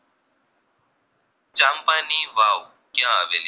ની વાવ ક્યાં આવેલી